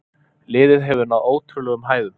Liðið hefur náð ótrúlegum hæðum.